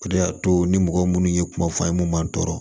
O de y'a to ni mɔgɔ minnu ye kuma f'an ye mun b'an tɔɔrɔ